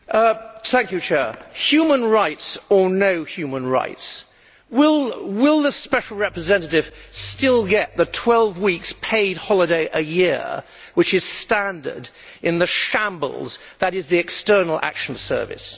Madam President, human rights or no human rights, will the Special Representative still get the 12 weeks' paid holiday a year which is standard in the shambles that is the External Action Service?